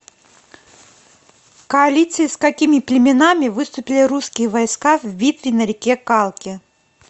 в коалиции с какими племенами выступили русские войска в битве на реке калке